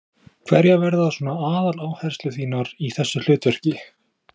Berghildur: Hverjar verða svona aðaláherslur þínar í þessu hlutverki?